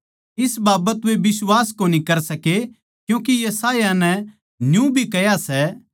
इस बाबत वे बिश्वास कोनी कर सके क्यूँके यशायाह नै न्यू भी कह्या सै